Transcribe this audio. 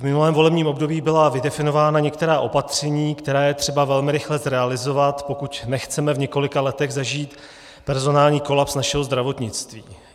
V minulém volebním období byla vydefinována některá opatření, která je třeba velmi rychle zrealizovat, pokud nechceme v několika letech zažít personální kolaps našeho zdravotnictví.